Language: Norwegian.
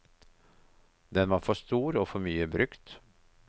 Den var for stor og for mye brukt.